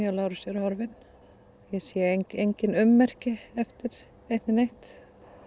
Lárusi er horfinn og ég sé engin ummerki eftir eitt né neitt